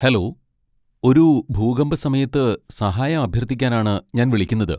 Hello, ഒരു ഭൂകമ്പ സമയത്ത് സഹായം അഭ്യർത്ഥിക്കാനാണ് ഞാൻ വിളിക്കുന്നത്.